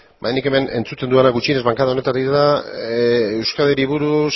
bainanik hemen entzuten dudana gutxienez bankada honetatik da euskadiri buruz